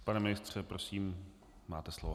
Pane ministře, prosím, máte slovo.